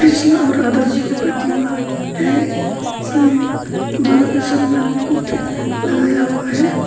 कृष्णा और राधा जी के प्रतिमा है इसमें दोनों के सर में मुकुट लगाया हुआ है।